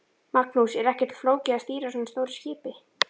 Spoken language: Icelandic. Magnús: Er ekkert flókið að stýra svona stóru skipi?